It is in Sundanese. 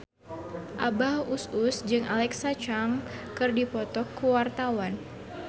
Abah Us Us jeung Alexa Chung keur dipoto ku wartawan